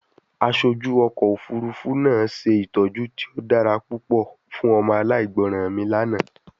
Aṣoju ọkọ ofurufu naa Se itọju ti o dara pupọ fun ọmọ alaigbọran mi lana